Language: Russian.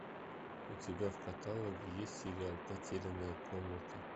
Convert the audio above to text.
у тебя в каталоге есть сериал потерянная комната